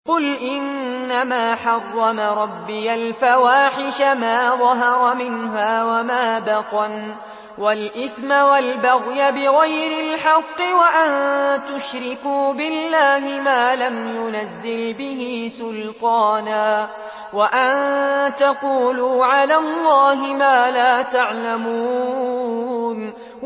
قُلْ إِنَّمَا حَرَّمَ رَبِّيَ الْفَوَاحِشَ مَا ظَهَرَ مِنْهَا وَمَا بَطَنَ وَالْإِثْمَ وَالْبَغْيَ بِغَيْرِ الْحَقِّ وَأَن تُشْرِكُوا بِاللَّهِ مَا لَمْ يُنَزِّلْ بِهِ سُلْطَانًا وَأَن تَقُولُوا عَلَى اللَّهِ مَا لَا تَعْلَمُونَ